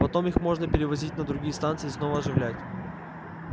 потом их можно перевозить на другие станции и снова оживлять